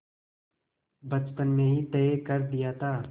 बचपन में ही तय कर दिया था